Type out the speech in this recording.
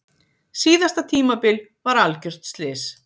Síðasta tímabil var algjört slys.